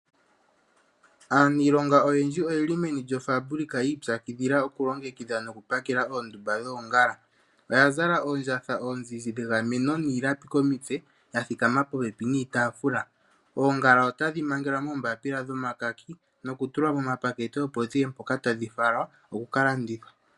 Aanilonga oyendji oyeli meno lyoFabilika yiipyakidhila nokulongekidha oondumba dhoongala oya zala oondjatha ozizi dhegameno niilapi komutse yathikama popepi niitafula. Oongala otadhi mangelwa moombapila dhomakaki noku tulwa momapakete opo dhiye mpoka tadhi falwa okukalandithwa.